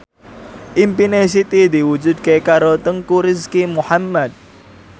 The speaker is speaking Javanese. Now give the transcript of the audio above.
impine Siti diwujudke karo Teuku Rizky Muhammad